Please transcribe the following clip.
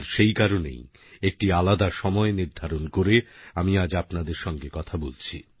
আর সেই কারণেই একটি আলাদা সময় নির্ধারণ করে আমি আজ আপনাদের সঙ্গে কথা বলছি